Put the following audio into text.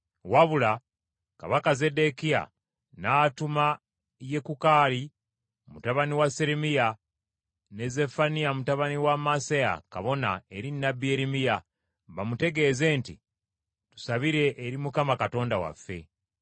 Wabula kabaka Zeddekiya n’atuma Yekukaali mutabani wa Seremiya ne Zeffaniya mutabani wa Maaseya kabona eri nnabbi Yeremiya, bamutegeeze nti, “Tusabire eri Mukama Katonda waffe.”